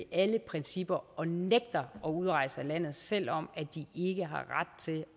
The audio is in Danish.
alle principper og nægter at udrejse af landet selv om de ikke har ret til